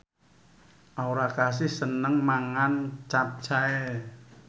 Aura Kasih seneng mangan capcay